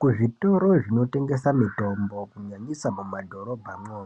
Kuzvitoro zvinotengesa mitombo kunyanyisa mumadhorobhamwo